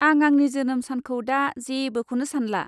आं आंनि जोनोम सानखौ दा जेबोखौनो सानला।